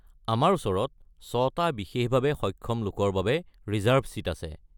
আমাৰ ওচৰত ছটা বিশেষভাৱে সক্ষম লোকৰ বাবে ৰিজাৰ্ভ ছিট আছে।